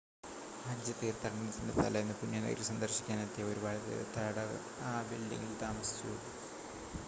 ഹജ്ജ് തീർത്ഥാടനത്തിൻ്റെ തലേന്ന് പുണ്യനഗരി സന്ദർശിക്കാൻ എത്തിയ ഒരുപാട് തീർത്ഥാടകർ ആ ബിൽഡിംങിൽ താമസിച്ചു